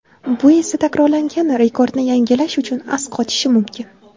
Bu esa takrorlangan rekordni yangilash uchun as qotishi mumkin.